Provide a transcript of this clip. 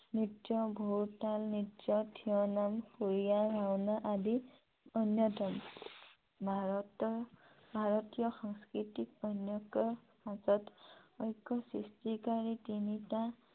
নৃত্য, ঘোৰতাল নৃত্য়, থিয় নাম, খুলীয়া ভাওনা আদি অন্যতম । ভাৰতীয় সংস্কৃতিক অনৈক্য়ৰ মাজত ঐক্য় সৃষ্টিকাৰী তিনিটা